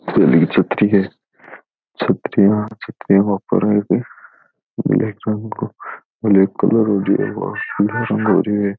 छतरी है छतरियाँ छतरियाँ के ऊपर में ब्लेक रंग को ब्लेक कलर और पिलो रंग हो री है।